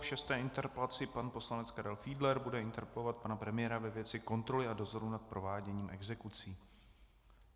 V šesté interpelaci pan poslanec Karel Fiedler bude interpelovat pana premiéra ve věci kontroly a dozoru nad prováděním exekucí.